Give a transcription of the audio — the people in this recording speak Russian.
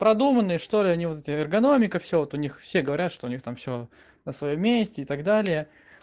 продуманный что ли они вот эти эрганомика все вот у них все говорят что у них там всё на своём месте и так далее